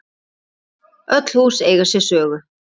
Öll hús eiga sér sögu.